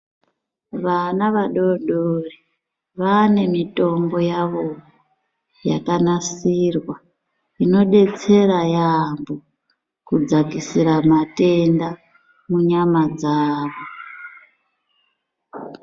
Vana vadodori vane mitombo yavowo yakanasirwa inodetsera yamho kudzakisira matenda munyama dzawo